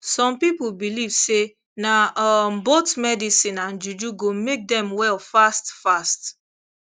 some people believe say na um both medicine and juju go make dem well fast fast